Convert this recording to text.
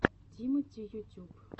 тимати ютюб